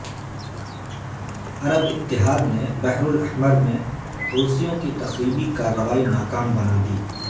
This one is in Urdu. عرب اتحاد نے بحرالاحمر میں حوثیوں کی تخریبی کارروائی ناکام بنادی